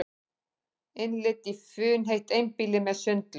Innlit í funheitt einbýli með sundlaug